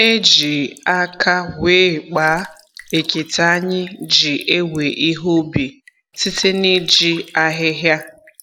E ji aka wee kpaa ekete anyị ji ewe ihe ubi, site na-iji ahịhịa